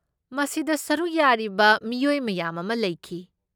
ꯃꯁꯤꯗ ꯁꯔꯨꯛ ꯌꯥꯔꯤꯕ ꯃꯤꯑꯣꯏ ꯃꯌꯥꯝ ꯑꯃ ꯂꯩꯈꯤ꯫